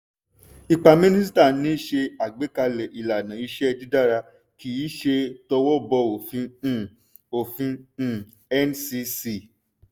ipa mínísíta ni ṣe agbékalè ìlànà-iṣé́ dídara kíí ṣe towó bọ òfin um òfin um ncc.